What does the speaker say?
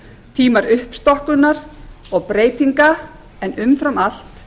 tímar uppstokkunar og breytinga en umfram allt